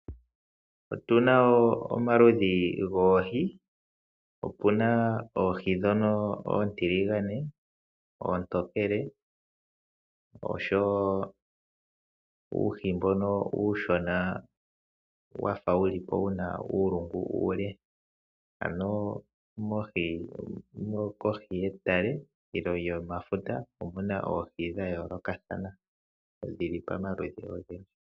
Otuna omaludhi goohi. Otuna oohi ndhono oontiligane, oontokele oshowo uuhi mbono uushona wafa wulipo wuna uulungu uule . Kohi yomatale nenge kohi yefuta okuna oohi dha yoolokathana dhili pomaludhi ogendji.